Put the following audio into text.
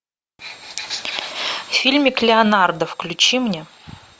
фильмик леонардо включи мне